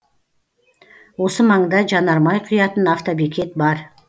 осы маңда жанармай құятын автобекет бар